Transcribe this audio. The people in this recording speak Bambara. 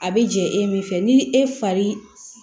A bɛ jɛ e min fɛ ni e fari